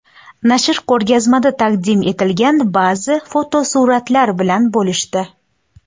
Nashr ko‘rgazmada taqdim etilgan ba’zi fotosuratlar bilan bo‘lishdi.